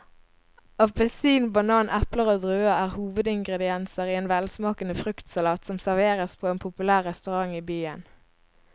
Appelsin, banan, eple og druer er hovedingredienser i en velsmakende fruktsalat som serveres på en populær restaurant i byen.